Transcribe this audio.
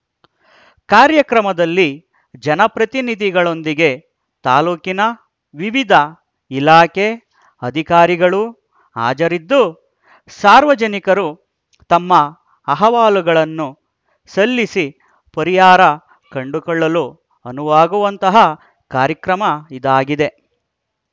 ಕಾರ್ಯಕ್ರಮದಲ್ಲಿ ಜನಪ್ರತಿನಿಧಿಗಳೊಂದಿಗೆ ತಾಲೂಕಿನ ವಿವಿಧ ಇಲಾಖೆ ಅಧಿಕಾರಿಗಳು ಹಾಜರಿದ್ದು ಸಾರ್ವಜನಿಕರು ತಮ್ಮ ಅಹವಾಲುಗಳನ್ನು ಸಲ್ಲಿಸಿ ಪರಿಹಾರ ಕಂಡುಕೊಳ್ಳಲು ಅನುವಾಗುವಂತಹ ಕಾರ್ಯಕ್ರಮ ಇದಾಗಿದೆ